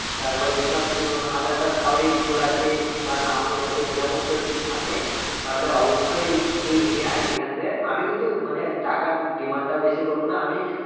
তারপরে ধর উহ আঁধার card কারোরই ভুল আছে বা নাম ভুল আছে এই রকম কেউ যদি থাকে তাহলে অবশ্যই তুই নিয়ে আয় এখানে আমি কিন্তু মানে টাকার demand টাও বেশি করবো না আমি